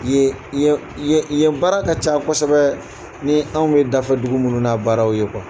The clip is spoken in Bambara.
Yen yen yen yen baara ka ca kosɛbɛ ni anw bɛ dafe dugu minnu n'a baaraw ye